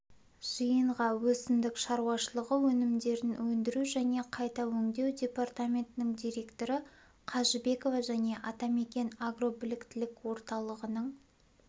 жиынға өсімдік шаруашылығы өнімдерін өндіру және қайта өңдеу департаментінің директоры қажыбекова және атамекен агробіліктілік орталығының